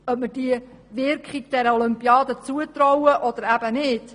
Ob man der Olympiade eine grosse Wirkung zutraut oder nicht, wird kontrovers diskutiert.